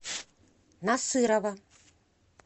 насырова